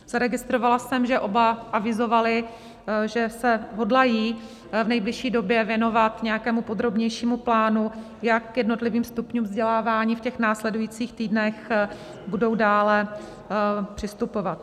Zaregistrovala jsem, že oba avizovali, že se hodlají v nejbližší době věnovat nějakému podrobnějšímu plánu, jak k jednotlivým stupňům vzdělávání v těch následujících týdnech budou dále přistupovat.